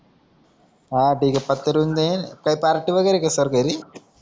हा तीख है काई पार्टी वगैरह का सर घरी